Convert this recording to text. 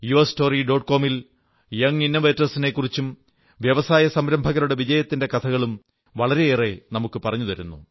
com Â young innovators നെക്കുറിച്ചും വ്യവസായസംരംഭകരുടെ വിജയത്തിന്റെ കഥകളും വളരെയേറെ നമുക്കു പറഞ്ഞു തരുന്നു